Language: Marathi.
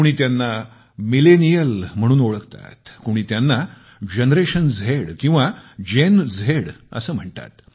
कोणी त्यांना मिलेनियल म्हणून ओळखतात कोणी त्यांना जनरेशन झेड किंवा जेन झेड असे म्हणतात